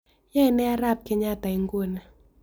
Yoenee arap kenyatta inguni